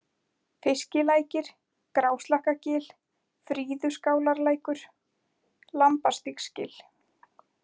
Fiskilækir, Gráslakkagil, Fríðuskálarlækur, Lambastígsgil